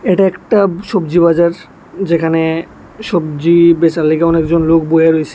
এটা একটা সবজি বাজার যেখানে সবজি বেচার লাইগা অনেকজন লোক বইয়া রয়েছে।